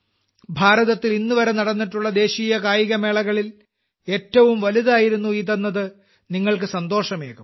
ഭാരതത്തിൽ ഇന്നുവരെ നടന്നിട്ടുള്ള ദേശീയ കായികമേളകളിൽ ഏറ്റവും വലുതായിരുന്നു ഇതെന്നത് താങ്കൾ സന്തോഷമേകും